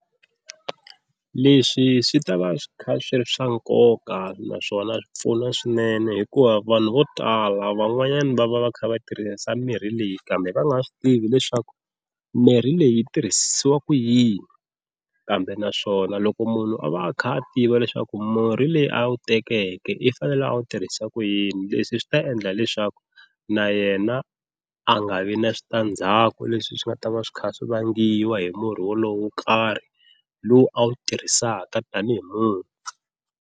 Leswi swi ta va swi kha swi ri swa nkoka naswona swi pfuna swinene hikuva vanhu vo tala van'wanyana va va va kha va tirhisa mirhi leyi kambe va nga swi tivi leswaku mirhi leyi yi tirhisiwaka yini, kambe naswona loko munhu a va a kha a tiva leswaku murhi leyi a wu tekeke i fanele a wu tirhisa ku yini leswi swi ta endla leswaku na yena a nga vi na switandzhaku leswi swi nga ta va swi kha swi vangiwa hi murhi wolowo wo karhi lowu a wu tirhisaka tanihi murhi.